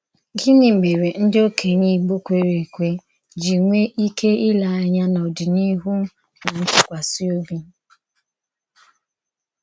Gịnị mèré ndí òkènye Ìgbò kwèrè-èkwe jì nwè íké ìlè ànyà n’ọ̀díníhù na ntùkwàsí òbì?